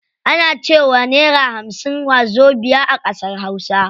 Ana cewa naira hamsin wazobiya a ƙasar hausa.